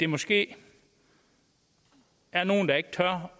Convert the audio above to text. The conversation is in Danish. måske er nogle der ikke tør